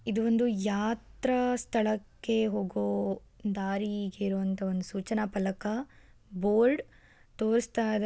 ಇದು ಒಂದು ಯಾತ್ರಾ ಸ್ಥಳಕ್ಕೆ ಹೋಗೋ ದಾರಿ ಇರುವಂತಹ ಒಂದು ಸೂಚನಾ ಫಲಕ ಬೋರ್ಡ್ ತೋರುಸ್ತಾ--